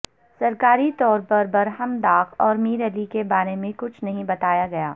سرکاری طور پر برہمداغ اور میر علی کے بارے میں کچھ نہیں بتایا گیا